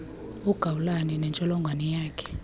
ugawulayo nentsholongwane yakhe